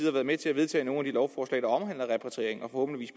har været med til at vedtage nogle af de lovforslag der omhandler repatriering og